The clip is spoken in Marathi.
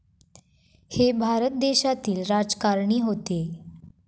हे भारत देशातील राजकारणी होते.